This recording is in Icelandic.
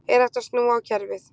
Er hægt að snúa á kerfið?